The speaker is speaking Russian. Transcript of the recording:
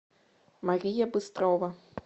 мария быстрова